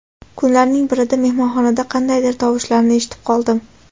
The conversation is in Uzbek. Kunlarning birida mehmonxonadan qandaydir tovushlarni eshitib qoldim.